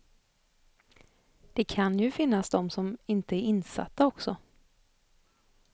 Det kan ju finnas dom som inte är insatta också.